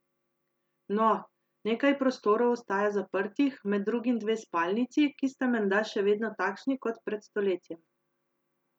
No, nekaj prostorov ostaja zaprtih, med drugim dve spalnici, ki sta menda še vedno takšni kot pred stoletjem.